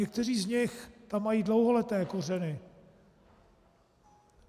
Někteří z nich tam mají dlouholetí kořeny.